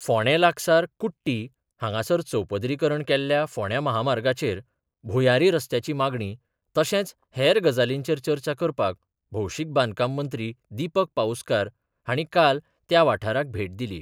फोंडे लागसार कुट्टी हांगासर चौपदरीकरण केल्ल्या फोंड्यां म्हामार्गाचेर भुंयारी रस्त्याची मागणी तशेंच हेर गजालींचेर चर्चा करपाक भौशीक बांदकाम मंत्री दीपक पाऊसकार हांणी काल त्या वाठाराक भेट दिली.